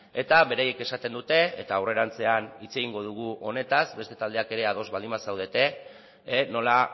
eta beraiek esaten dute eta aurrerantzean hitz egingo dugu honetaz beste taldeak ere ados baldin bazaudete nola